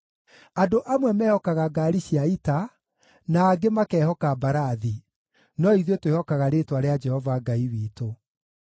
Andũ amwe mehokaga ngaari cia ita, na angĩ makehoka mbarathi, no ithuĩ twĩhokaga rĩĩtwa rĩa Jehova Ngai witũ.